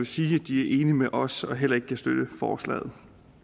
sige at de er enige med os og heller ikke kan støtte forslaget